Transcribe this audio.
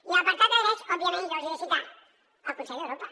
i a l’apartat de drets òbviament jo els hi he de citar el consell d’europa